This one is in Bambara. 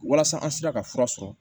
Walasa an sera ka fura sɔrɔ